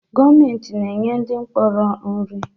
Gọọmentị na-enye ndị mkpọrọ nri